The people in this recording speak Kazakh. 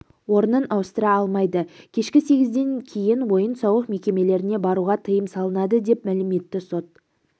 орнын ауыстыра алмайды кешкі сегізден кейін ойын-сауық мекемелеріне баруға тыйым салынады деп мәлім етті сот